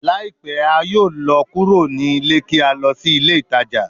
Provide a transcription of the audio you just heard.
Laipẹ a yoo lọ kuro ni ile ki a lọ si ile itaja